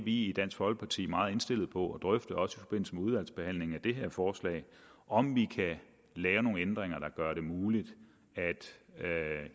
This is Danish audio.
i dansk folkeparti meget indstillet på at drøfte også i forbindelse med udvalgsbehandlingen af det her forslag om vi kan lave nogle ændringer der gør det muligt at